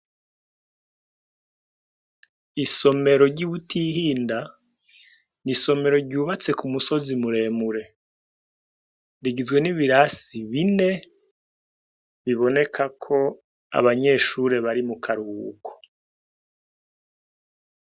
Isomero ryi Butihinda n'isomero ryubatse ku musozi muremure rigizwe n'ibirasi bine biboneka ko abanyeshuri bari mu karuhuko.